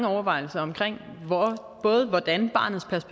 overvejelser om barnets ret